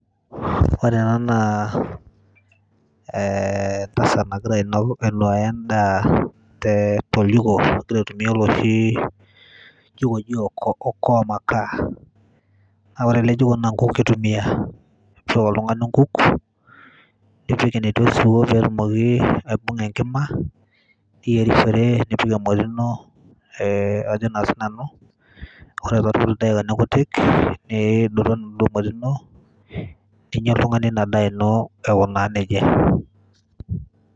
Ore ena naa ee entasat nagira ainok ainuaya endaa tee toljiko egira aitumia oloshi jiko oji oko okoa makaa, naa ore ele jiko naa nkuuk itumia ashu eyau oltung'ani nkuuk, nipik enetii osiwuo pee etumoki aibung'a enkima niyerishore entoki e ng'ole ino ee ajo naa sinanu kore toorkuik dakikani kutik niidotu enaduo moti ino ninya oltung'ani ina daa ino ewo naa neja.